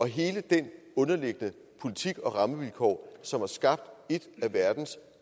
hele den underliggende politik og rammevilkår som har skabt en af verdens